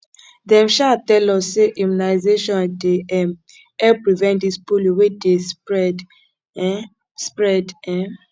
dem um tell us sey immunization dey um help prevent dis polio wey dey spread um spread um